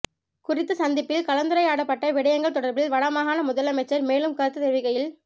குறித்த சந்திப்பில் கலந்துரையாடப்பட்ட விடயங்கள் தொடர்பில் வடமாகாண முதலமைச்சர் மேலும் கருத்துத் தெரிவிக்கையில்